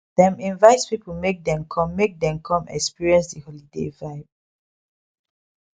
dem invite people make dem come make dem come experience the holiday vibe